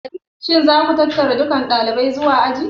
Shin za ku tattara dukan ɗalibai zuwa aji?